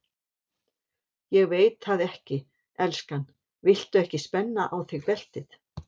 Ég veit það ekki, elskan, viltu ekki spenna á þig beltið?